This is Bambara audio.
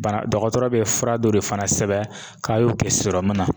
Bana dɔgɔtɔrɔ be fura dɔ de fana sɛbɛn k'a y'o kɛ sɔrɔmun na.